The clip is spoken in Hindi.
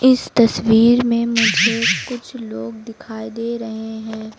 इस तस्वीर में मुझे कुछ लोग दिखाई दे रहे हैं।